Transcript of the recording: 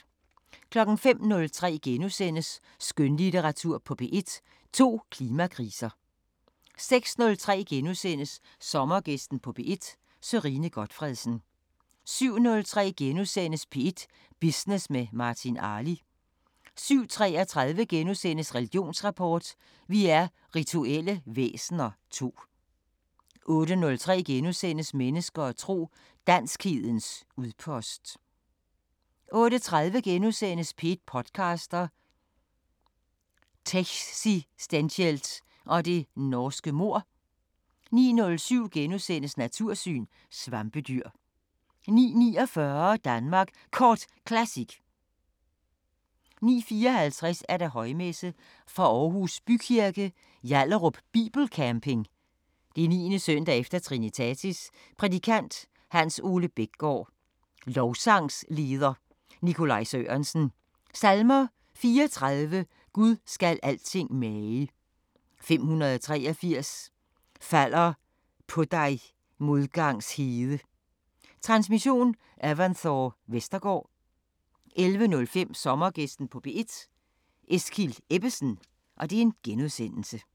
05:03: Skønlitteratur på P1: To klimakriser * 06:03: Sommergæsten på P1: Sørine Gotfredsen * 07:03: P1 Business med Martin Arli * 07:33: Religionsrapport: Vi er rituelle væsener II * 08:03: Mennesker og tro: Danskhedens udpost * 08:30: P1 podcaster – Techsistentielt og det norske mord * 09:07: Natursyn: Svampedyr * 09:49: Danmark Kort Classic 09:54: Højmesse - Fra Aarhus Bykirke, Hjallerup Bibelcamping, 9. s. e. Trinitatis. Prædikant: Hans- Ole Bækgård. Lovsangsleder: Nicolai Sørensen. Salmer: 34: Gud skal alting mage. 583: Falder på dig modgangs hede. Transmission: Evanthore Vestergaard. 11:05: Sommergæsten på P1: Eskild Ebbesen *